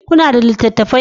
Kuna da littattafai